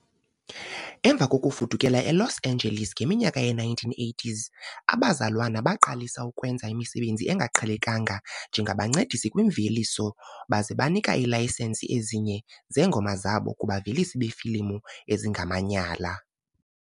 Emva kokufudukela eLos Angeles ngeminyaka yee-1980s, abazalwana baqalisa ukwenza imisebenzi engaqhelekanga njengabancedisi kwimveliso baza banika iilayisensi ezinye zeengoma zabo kubavelisi beefilimu ezingamanyala.